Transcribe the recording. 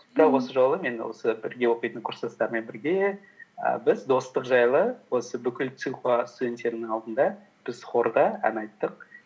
бірақ осы жолы мен осы бірге оқитын курстастарыммен бірге і біз достық жайлы осы бүкіл цинхуа студенттерінің алдында біз хорда ән айттық